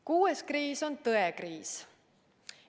Kuues kriis on tõekriis.